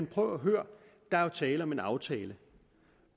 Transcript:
prøv at høre der er jo tale om en aftale